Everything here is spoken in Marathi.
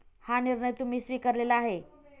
हा निर्णय तुम्ही स्वीकारलेला आहे.